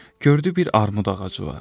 Gördü bir armud ağacı var.